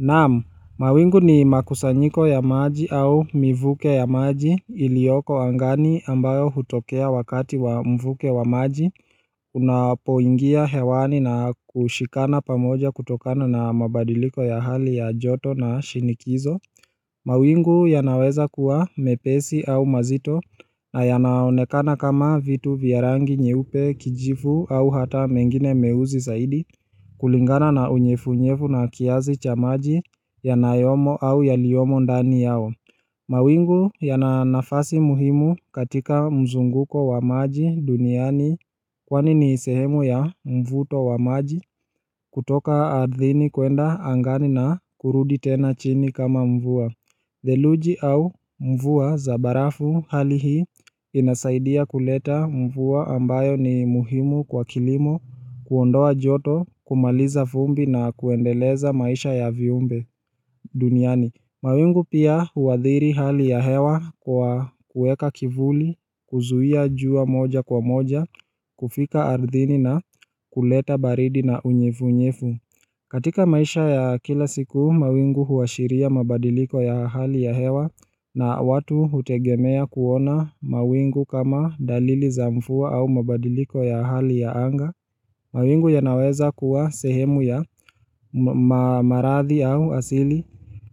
Naam, mawingu ni makusanyiko ya maji au mivuke ya maji ilioko angani ambayo hutokea wakati wa mvuke wa maji Unapoingia hewani na kushikana pamoja kutokana na mabadiliko ya hali ya joto na shinikizo mawingu yanaweza kuwa mepesi au mazito na yanaonekana kama vitu vya rangi nyeupe kijivu au hata mengine meuzi saidi kulingana na unyefunyefu na kiazi cha maji yanayomo au yaliyomo ndani yao mawingu yana nafasi muhimu katika mzunguko wa maji duniani Kwani ni sehemu ya mvuto wa maji kutoka ardhini kuenda angani na kurudi tena chini kama mvua Theluji au mvua za barafu hali hii inasaidia kuleta mvua ambayo ni muhimu kwa kilimo kuondoa joto kumaliza fumbi na kuendeleza maisha ya viumbe duniani mawingu pia huathiri hali ya hewa kwa kueka kivuli, kuzuia jua moja kwa moja, kufika ardhini na kuleta baridi na unyefu unyefu katika maisha ya kila siku, mawingu huashiria mabadiliko ya hali ya hewa na watu hutegemea kuona mawingu kama dalili za mfua au mabadiliko ya hali ya anga. Mawingu yanaweza kuwa sehemu ya maradhi au asili